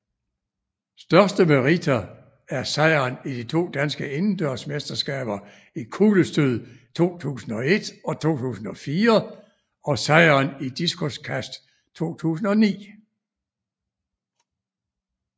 Største meriter er sejren i de to danske indendørs mesterskaber i kuglestød 2001 og 2004 og sejren i diskoskast 2009